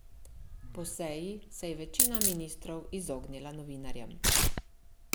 Po seji se je večina ministrov izognila novinarjem.